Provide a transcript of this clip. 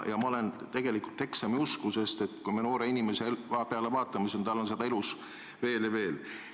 Ma olen tegelikult eksamiusku, sest noorel inimesel on neid elus veel ja veel.